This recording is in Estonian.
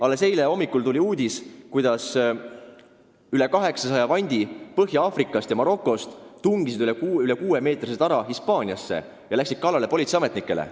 Alles eile hommikul tuli uudis, kuidas rohkem kui 800 Marokost ja mujalt Põhja-Aafrikast pärit inimest tungis üle kuue meetri kõrguse tara Hispaaniasse ja läks kallale politseiametnikele.